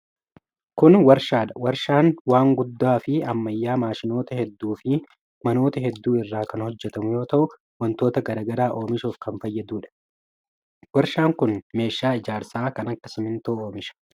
Kun warshaa dha. Warshaan waan guddaa fi ammayyawaa maashinoota hedduu fi manoota hedduu irraa kan hojjatamu yoo ta'u, wantoota garaa garaa oomishuuf kan fayyaduu dha. Warshaan kun meeshaa ijaarsaa kan akka simiintoo oomisha.